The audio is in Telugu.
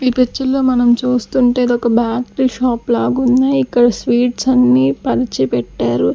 ఈ పిక్చర్ లో మనం చూస్తుంటే ఇది ఒక బ్యాకరీ షాప్ లాగా ఉంది ఇక్కడ స్వీట్స్ అన్ని పరిచి పెట్టారు.